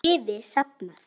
Liði safnað.